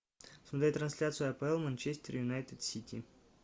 смотреть трансляцию апл манчестер юнайтед сити